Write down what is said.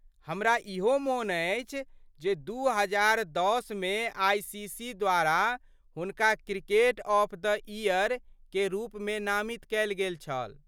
हमरा इहो मोन अछि जे दू हजार दश मे आईसीसी द्वारा हुनका 'क्रिकेटर ऑफ द ईयर' के रूपमे नामित कयल गेल छल।